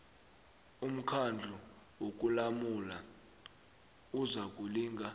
umkhandlu wokulamula uzakulinga